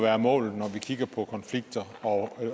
være målet når vi kigger på konflikter og